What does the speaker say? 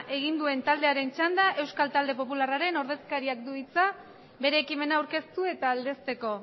egin duen taldearen txanda euskal talde popularraren ordezkariak du hitza bere ekimena aurkeztu eta aldezteko